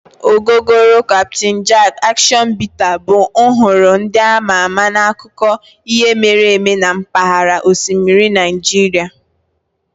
Ogogoro, Captain Jack, Action Bitter bụ nhọrọ ndị ama ama n'akụkọ ihe mere eme na mpaghara osimiri Nigeria.